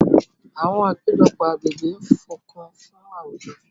àwọn apejọpọ agbegbe ń fokun fun awujo.